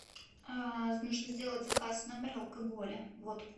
нужно сделать заказ в номер алкоголя водку